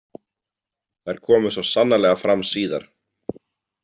Þær komu svo sannarlega fram síðar.